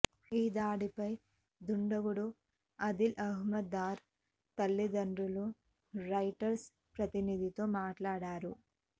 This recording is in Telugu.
ఈ దాడిపై దుండగుడు ఆదిల్ అహ్మద్ దార్ తల్లిదండ్రులు రాయిటర్స్ ప్రతినిధితో మాట్లాడారు